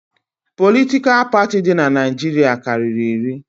Politikal parti di n'Naijiria karịrị iri